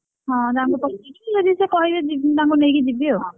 ହଁ ତାଙ୍କୁ ପଚାରିବି ଯଦି ସେ କହିବେ ଯିବେ ତାଙ୍କୁ ନେଇକି ଯିବିଆଉ,